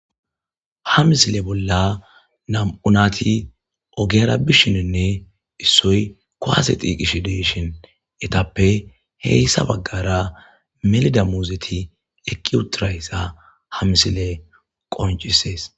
ha misile bolla nam'u nati ogera bishininne issoy kuwase dhiiqishi deeshin etappe heyssa baggara melida muuzeti eqi utirayssa ha misile qoncisees